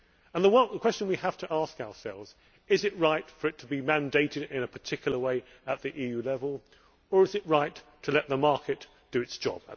And the question we have to ask ourselves is is it right for it to be mandated in a particular way at EU level or is it right to let the market do its job?